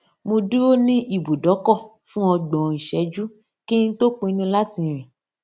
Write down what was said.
mo dúró ní ibùdókò fún ọgbòn ìṣéjú kí n tó pinnu láti rìn